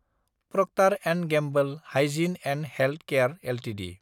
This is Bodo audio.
Procter & Gamble hygiene and health care Ltd